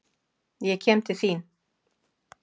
Ég kem til þín.